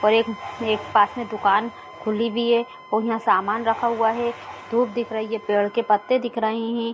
और एक-एक पास में दुकान खुली भी है और यहाँ सामान रखा हुआ है धुप दिख रही है पेड़ के पत्ते दिख रहे है।